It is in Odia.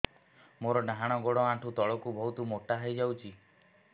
ମୋର ଡାହାଣ ଗୋଡ଼ ଆଣ୍ଠୁ ତଳକୁ ବହୁତ ମୋଟା ହେଇଯାଉଛି